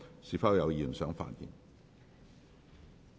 是否有議員想發言？